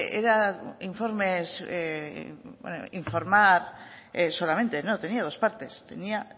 era informes informar solamente no tenía dos partes tenía